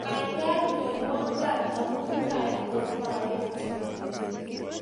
Kaikai nyoiwo kaat amu kait ko kaekcho